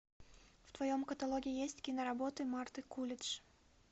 в твоем каталоге есть киноработы марты кулидж